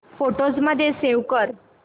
photos मध्ये save कर